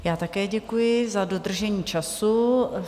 Já také děkuji za dodržení času.